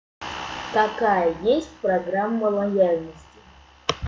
какая есть программа лояльности